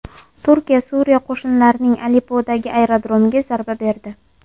Turkiya Suriya qo‘shinlarining Aleppodagi aerodromiga zarba berdi.